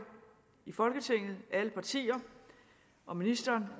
i folketinget alle partier og ministeren